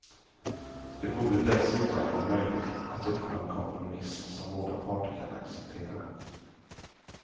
Det borde dessutom vara möjligt att uppnå en kompromiss som båda parter kan acceptera.